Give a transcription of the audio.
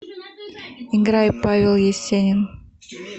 играй павел есенин